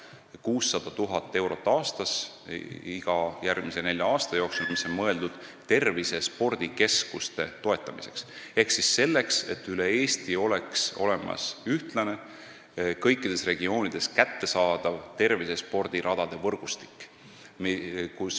See on 600 000 eurot aastas iga järgmise nelja aasta jooksul, mis on mõeldud tervisespordikeskuste toetamiseks ehk selleks, et üle Eesti oleks olemas ühtlane, kõikides regioonides kättesaadav tervisespordiradade võrgustik.